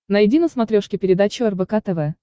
найди на смотрешке передачу рбк тв